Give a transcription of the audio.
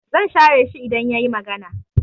I will ignore him if he talk